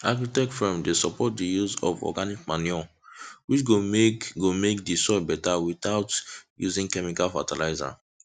agritech firm dey support dey use of organic manure which go make go make the soil beta without using chemical fertilizer